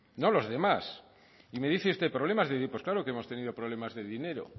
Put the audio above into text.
no los demás y me dice usted problemas pues claro que hemos tenido problemas de dinero